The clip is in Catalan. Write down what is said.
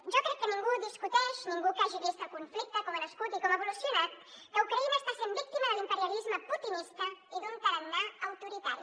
jo crec que ningú discuteix ningú que hagi vist el conflicte com ha nascut i com ha evolucionat que ucraïna està sent víctima de l’imperialisme putinista i d’un tarannà autoritari